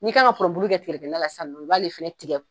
Ni ka pɔrɔnbulu kɛ tigɛdɛgɛ na la sisan nɔn, i b'ale fɛnɛ tigɛ